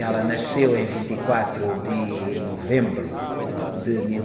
Ela nasceu em vinte e quatro de novembro de mil...